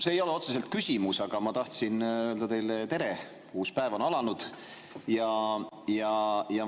See ei ole otseselt küsimus, ma tahtsin öelda teile tere, uus päev on alanud.